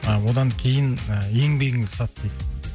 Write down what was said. а одан кейін ы еңбегіңді сат дейді